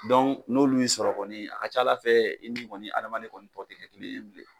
n'olu y'i sɔrɔ kɔni a ka ca Ala fɛ i ni kɔni adamaden kɔni tɔ tɛ kɛ kelen ye bilen.